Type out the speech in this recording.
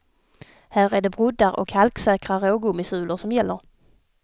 Här är det broddar och halksäkra rågummisulor som gäller.